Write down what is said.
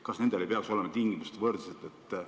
Kas nendel ei peaks olema võrdsed tingimused?